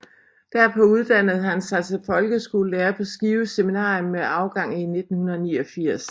Derpå uddannede han sig til folkeskolelærer på Skive Seminarium med afgang i 1989